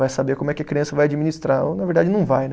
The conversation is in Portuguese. Vai saber como é que a criança vai administrar, ou na verdade não vai, né?